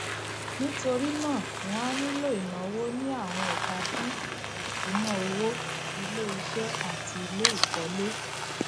nítorí náà wọn á nílò ìnáwó ní àwọn ẹka bíi ìṣúnná owó iléiṣẹ àti iléìkólé